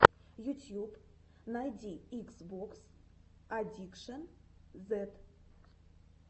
ютьюб найди икс бокс аддикшэн зед